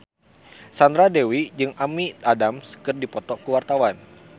Sandra Dewi jeung Amy Adams keur dipoto ku wartawan